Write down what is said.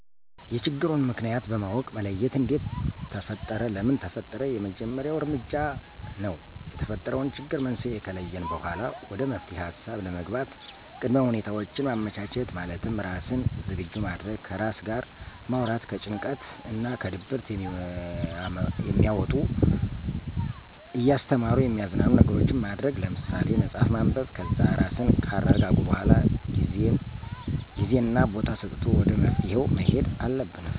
የችግሩን ምክንያት ማወቅ መለየት እንዴት ተፈጠረ ለምን ተፈጠረ የመጀመሪያው እርምጃ ነው። የተፈጠረውን ችግር መንስኤ ከለየን በኋላ ወደ መፍትሔ ሀሳብ ለመግባት ቅድመ ሁኔታውችን ማመቻቸት፣ ማለትም ራስን ዝግጁ ማድረግ፣ ከራስ ጋር ማውራት፣ ከጭንቀት እና ከድብርት የሚያወጡ እያስተማሩ የሚያዝናኑ ነገሮችን ማድረግ ለምሳሌ፥ መፅሀፍ ማንበብ ...ከዛ ራስን ካረጋጉ በኋላ ጊዜና ቦታ ሰጥቶ ወደ መፍትሔው መሔድ አለብን።